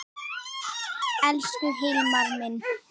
Elsku Hilmar minn.